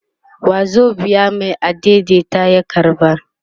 wazobiya Mai adaidaita ya karba